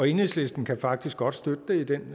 enhedslisten kan faktisk godt støtte det i den